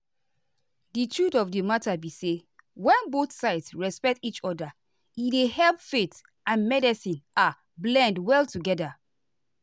the truth of the matter be say when both sides respect each other e dey help faith and medicine ah blend well together.